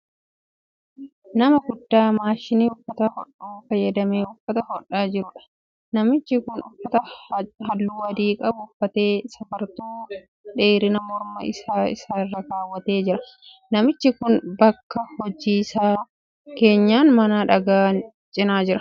Nama guddaa maashinii uffata hodhu fayyadamee uffata hodhaa jiruudha. Namichi kun uffata halluu adii qabu uffatee safartuu dheerinaa morma isaa isaa irra kaawwatee jira. Namichi kun bakki hojii isaa keenyan mana dhagaa cina jira.